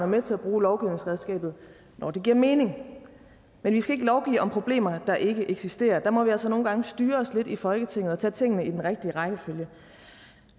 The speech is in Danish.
med til at bruge lovgivningsredskabet når det giver mening men vi skal ikke lovgive om problemer der ikke eksisterer der må vi altså nogle gange styre os lidt her i folketinget og tage tingene i den rigtige rækkefølge